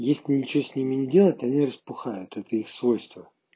если ничего с ними не делать они распухают это их свойства